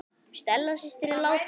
Stella systir er látin.